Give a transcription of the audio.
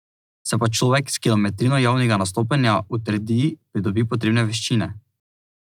Se pa človek s kilometrino javnega nastopanja utrdi, pridobi potrebne veščine.